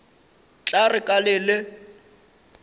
tla re ka le le